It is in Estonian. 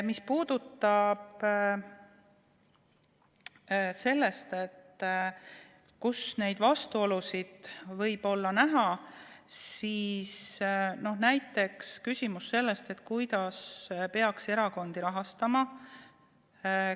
Mis puudutab seda, kus neid vastuolusid võib näha, siis näiteks küsimus sellest, kuidas peaks erakondi rahastama.